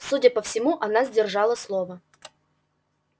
судя по всему она сдержала слово